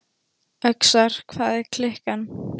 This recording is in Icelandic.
Öxar, hvað er klukkan?